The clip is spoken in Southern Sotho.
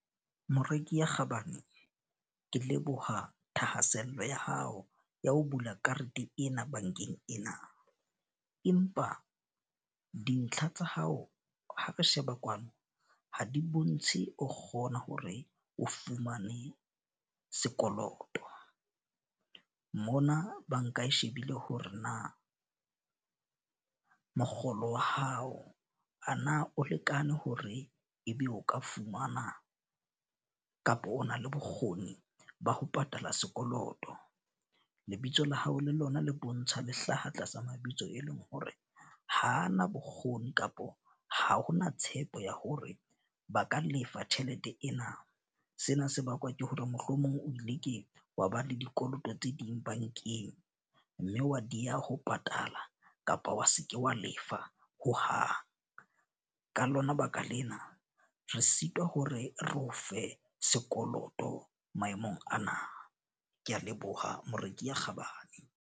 Moreki ya kgabane, ke leboha thahasello ya hao ya ho bula karete ena bankeng ena. Empa dintlha tsa hao ha re sheba kwano, ha di bontshe o kgona hore o fumane sekoloto. Mona banka e shebile hore na mokgolo wa hao a na o lekane hore e be o ka fumana kapa o na le bokgoni ba ho patala sekoloto. Lebitso la hao le lona le bontsha le hlaha tlasa mabitso e leng hore hana bokgoni kapo ha hona tshepo ya hore ba ka lefa tjhelete ena. Sena se bakwa ke hore mohlomong o ile ke wa ba le dikoloto tse ding bankeng, mme wa dieha ho patala kapa wa se ke wa lefa hohang. Ka lona lebaka lena re sitwa ho re re o fe sekoloto maemong ana. Ke a leboha moreki ya kgabane.